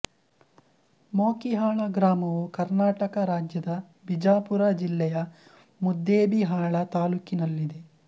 ಮೊಕಿಹಾಳ ಗ್ರಾಮವು ಕರ್ನಾಟಕ ರಾಜ್ಯದ ಬಿಜಾಪುರ ಜಿಲ್ಲೆಯ ಮುದ್ದೇಬಿಹಾಳ ತಾಲ್ಲೂಕಿನಲ್ಲಿದೆ